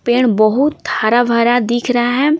पेड़ बहुत हरा भरा दिख रहा है।